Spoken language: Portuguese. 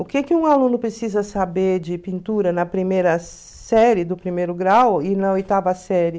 O que que um aluno precisa saber de pintura na primeira série do primeiro grau e na oitava série?